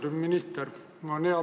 Austatud minister!